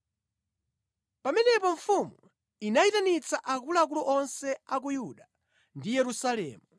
Pamenepo mfumu inayitanitsa akuluakulu onse a ku Yuda ndi Yerusalemu.